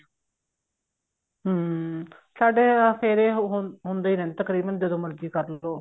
ਹਮ ਤੁਹਾਡੇ ਫੇਰੇ ਹੁੰਦੇ ਰਹਿੰਦੇ ਨੇ ਤਕਰੀਬਨ ਜਦੋਂ ਮਰਜ਼ੀ ਕਰਲੋ